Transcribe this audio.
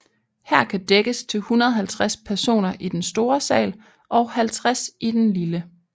Her kan dækkes til 150 personer i den store sal og 50 i den lille